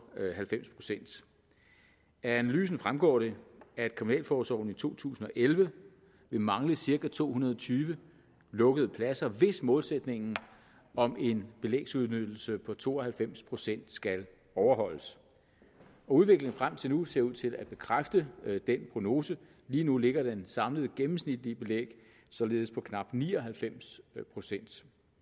halvfems procent af analysen fremgår det at kriminalforsorgen i to tusind og elleve vil mangle cirka to hundrede og tyve lukkede pladser hvis målsætningen om en belægsudnyttelse på to og halvfems procent skal overholdes og udviklingen frem til nu ser ud til at bekræfte den prognose lige nu ligger det samlede gennemsnitlige belæg således på knap ni og halvfems procent